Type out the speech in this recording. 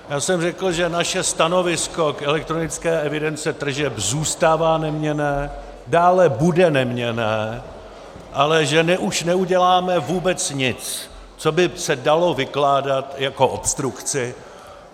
Já jsem řekl, že naše stanovisko k elektronické evidenci tržeb zůstává neměnné, dále bude neměnné, ale že už neuděláme vůbec nic, co by se dalo vykládat jako obstrukce.